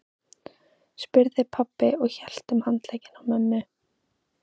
spurði pabbi og hélt um handlegginn á mömmu.